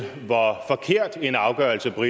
du